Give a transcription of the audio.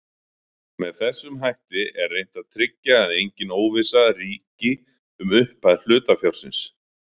Með þessum hætti er reynt að tryggja að engin óvissa ríki um upphæð hlutafjárins.